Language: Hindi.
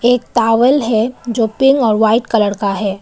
एक टॉवल है जो पिंक और वाइट कलर का है।